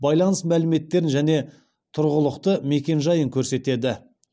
байланыс мәліметтерін және тұрғылықты мекен жайын көрсетеді